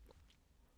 DR P2